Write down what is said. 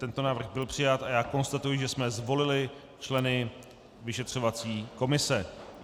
Tento návrh byl přijat a já konstatuji, že jsme zvolili členy vyšetřovací komise.